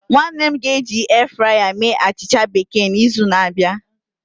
Nwanne m ga eji airfryer mee achịcha bekee na izu na abịa